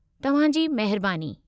तव्हां जी महिरबानी।